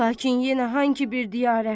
Lakin yenə hangı bir diyarə?